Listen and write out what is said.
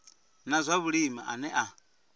na zwa vhulimi ane a